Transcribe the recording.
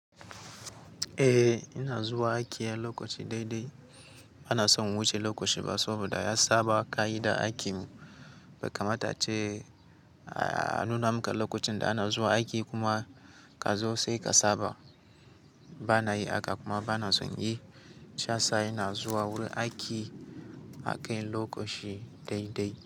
Eh ina zuwa aiki a lokaci daidai. Bana son wuce lokaci ba saboda ya saba ka'idar aikin mu. Bai kamata ce a nuna muka lokacin da ana zuwa aiki kuma ka zo sai ka saba. Ba na yi haka kuma ba na son yi. Shi yasa ina zuwa wurin aiki a kai lokaci daidai.